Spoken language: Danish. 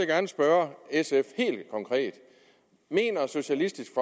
gerne spørge sf helt konkret mener socialistisk